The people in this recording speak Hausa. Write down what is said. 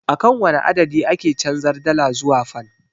Akan wane adadi ake canjar dala zuwa fan?